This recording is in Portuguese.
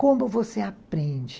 Como você aprende?